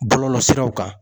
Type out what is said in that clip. Bɔlɔlɔsiraw kan.